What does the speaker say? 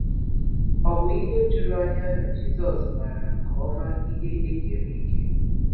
O bụ ihe iju anya na Jisọs maara nke ọma ihe e kere eke?